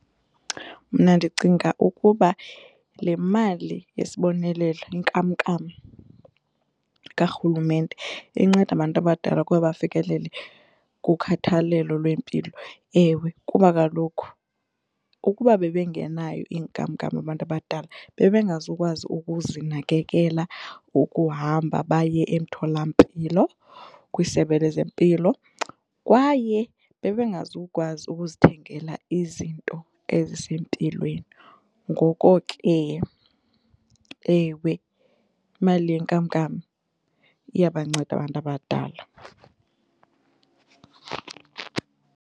Mna ndicinga ukuba le mali yesibonelelo inkamnkam kaRhulumente inceda abantu abadala ukuba bafikelele kukhathalelo lwempilo. Ewe, kuba kaloku ukuba bebengenayo inkamnkam abantu abadala bebengazukukwazi ukuzinakekela, ukuhamba baye emtholampilo kwisebe lezempilo kwaye bebengazukukwazi ukuzithengela izinto ezisempilweni. Ngoko ke ewe, imali yenkamnkam iyabanceda abantu abadala.